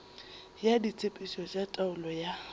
ya ditshepetšo tša taolo ya